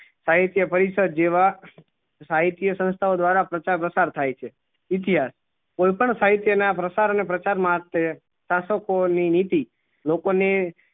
સાહિત્ય પરિષદ જેવા સાહિત્ય સંસથાઓ દ્વારા પ્રથા પ્રસાર થાય છે કોઈ પણ સાહિત્ય ના પ્રસાર ને પ્રચાર માટે શાસકો ની નીતિ લોકો ને